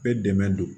Bɛɛ dɛmɛ don